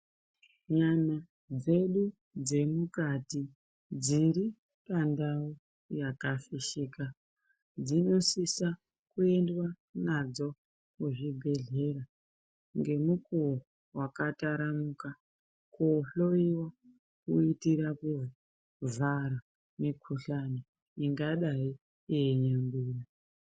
Nyama dzedu dzemukati dziri pandau yakafishika dzinosisa kuendwa nadzo kuzvibhehlera ngemukuwo wakataranuka koohloyiwa kuitira kuvhara mikuhlani ingadai yeinyangwira.